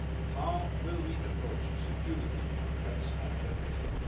How will we approach security threats and terrorism?